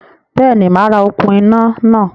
Béèni, màá ra okún iná náà